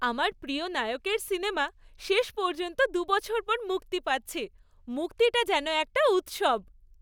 আমার প্রিয় নায়কের সিনেমা শেষ পর্যন্ত দু বছর পর মুক্তি পাচ্ছে, মুক্তিটা যেন একটা উৎসব।